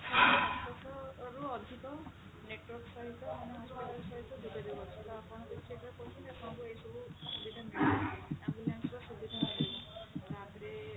ଆଠ ହଜାର ସାତଶହ ରୁ ଅଧିକ network ସହିତ ମାନେ hospital ସହିତ ଯୋଗାଯୋଗ ଅଛି ତ ସେଟା ଆପଣଙ୍କର ଆପଣଙ୍କର ଏଇ ସବୁ ସୁବିଧା ମିଳିବ ambulance ର ସୁବିଧା ମିଳିବ ତାପରେ